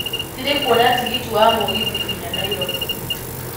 siri kũona tigiti wa mũgithi nginya nairobi